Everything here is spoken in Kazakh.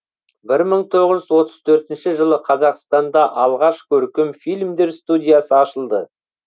бір мың тоғыз жүз отыз төртінші жылы қазақстанда алғаш көркем фильмдер студиясы ашылды